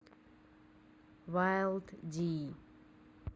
вайлд ди